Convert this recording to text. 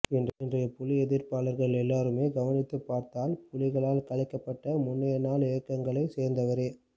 இன்றைய புலியெதிர்ப்பாளர்கள் எல்லோருமே கவனித்துப் பார்த்தால் புலிகளால் கலைக்கப்ட்ட முன்னைய நாள் இயக்கங்களைச் சேர்ந்தவரே